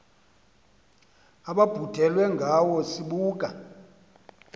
ababhudelwe ngawe sibuka